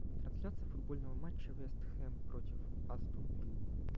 трансляция футбольного матча вест хэм против астон виллы